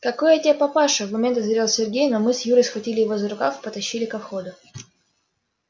какой я тебе папаша в момент озверел сергей но мы с юрой схватили его за рукав и потащили ко входу